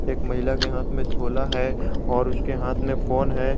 एक महिला के हाथ में झोला है और उसके हाथ में फोन है।